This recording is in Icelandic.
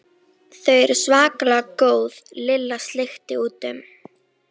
Þau eru svakalega góð Lilla sleikti út um.